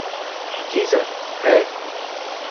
जी sir, है।